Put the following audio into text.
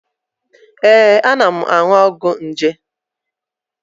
Ee, ana m aṅụ ọgwụ nje.